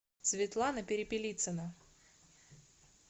светлана перепелицина